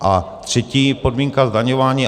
A třetí podmínka - zdaňování.